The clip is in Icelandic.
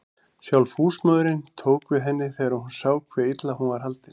Sjálf húsmóðirin tók við henni þegar hún sá hve illa hún var haldin.